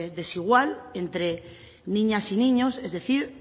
desigual entre niñas y niños es decir